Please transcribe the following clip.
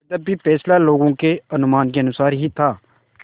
यद्यपि फैसला लोगों के अनुमान के अनुसार ही था